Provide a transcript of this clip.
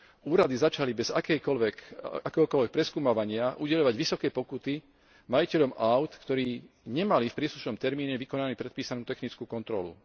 Úrady začali bez akéhokoľvek preskúmavania udeľovať vysoké pokuty majiteľom áut, ktorí nemali v príslušnom termíne vykonanú predpísanú technickú kontrolu.